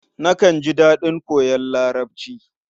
Nakan ji daɗin koyon Larabci.